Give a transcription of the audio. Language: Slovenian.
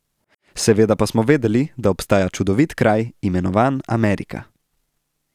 Seveda pa smo vedeli, da obstaja čudovit kraj, imenovan Amerika.